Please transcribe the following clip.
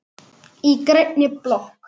Í grænni blokk